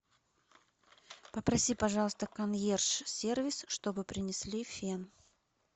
попроси пожалуйста консьерж сервис чтобы принесли фен